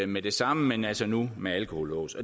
med det samme men altså nu med alkolås